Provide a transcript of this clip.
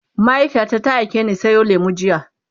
mahaifiyata ta aikeni Sayo lemu jiya